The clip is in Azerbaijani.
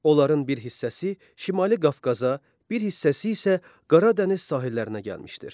Onların bir hissəsi Şimali Qafqaza, bir hissəsi isə Qara dəniz sahillərinə gəlmişdir.